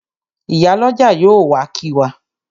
Ìyálọ́jà yóò wá kí wa.